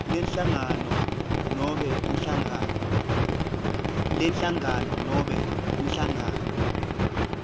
lenhlangano nobe inhlangano